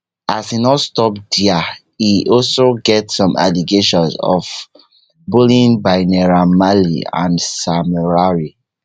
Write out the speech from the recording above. as e no stop dia e also get some allegations of bullying bynaira marleyandsam larry